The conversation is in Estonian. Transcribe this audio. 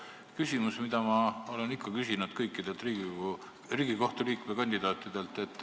Mul on küsimus, mida ma olen ikka küsinud kõikidelt Riigikohtu liikme kandidaatidelt.